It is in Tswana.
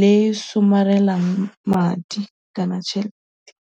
le e e somarelang madi kana tšhelete.